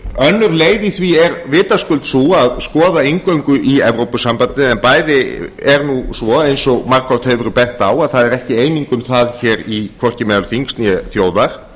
önnur leið í því er vitaskuld sú að skoða inngöngu í evrópusambandið en bæði er svo eins og margoft hefur verið bent á að það er hvorki eining um það hvorki meðal þings né þjóðar